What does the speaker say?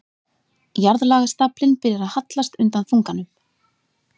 Jarðlagastaflinn byrjar að hallast undan þunganum.